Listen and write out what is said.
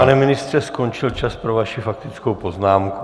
Pane ministře, skončil čas pro vaši faktickou poznámku.